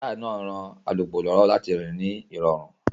Táyà náà ń ran alùpùpù lọ́wọ́ láti rìn ní ìrọ̀rùn